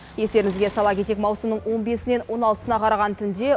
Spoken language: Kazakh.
естеріңізге сала кетейік маусымның он бесінен он алтысына қараған түнде